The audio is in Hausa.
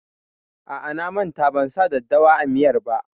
A'a, na manta ban sa daddawa a miyar ba.